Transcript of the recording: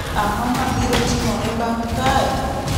Ang’o ma biro timore bang’ kae?